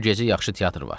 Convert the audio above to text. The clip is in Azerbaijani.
Bu gecə yaxşı teatr var.